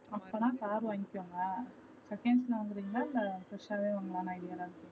அப்பனா car வாங்கிக்கோங்க seconds ல வாங்குறீங்களா இல்ல fresh வே வாங்குளானு idea ல